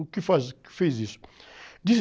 O que faz, o que fez isso?